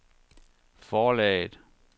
forlaget